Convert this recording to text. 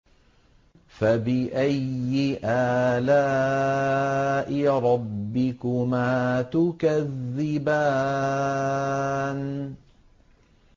فَبِأَيِّ آلَاءِ رَبِّكُمَا تُكَذِّبَانِ